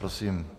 Prosím.